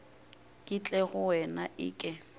ke tle go wena eke